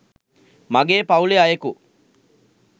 මගේ පවුලේ අයෙකු